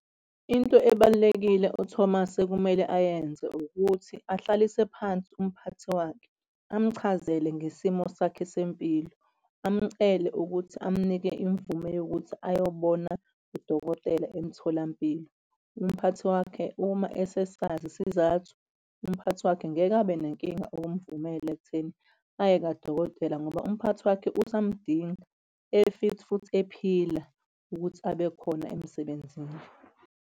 Into ebalulekile uThomas ekumele ayenze ukuthi ahlalise phansi umphathi wakhe amchazele ngesimo sakho sempilo, amcele ukuthi amunikeze imvume yokuthi ayobona udokotela emtholampilo. Umphathi wakhe uma esesazi isizathu. Umphathi wakhe ngeke abe nenkinga ukumvumela ekutheni aye kadokotela ngoba umphathi wakhe usamdinga e-fit futhi ephila ukuthi abe khona emsebenzini.